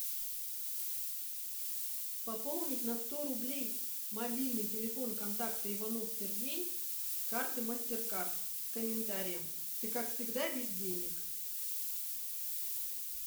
пополнить на сто рублей мобильный телефон контакта иванов сергей с карты мастер кард с комментарием ты как всегда без денег